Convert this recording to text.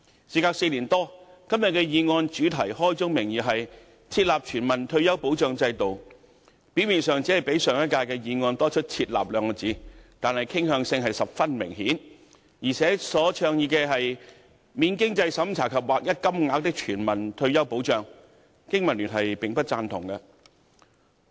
事隔4年多，今天這項議案的主題開宗明義為"設立全民退休保障制度"，表面上只較上屆的議案多了"設立"二字，但傾向性十分明顯，而且所倡議的"免經濟審查及劃一金額的全民退休保障"，經民聯並不贊同。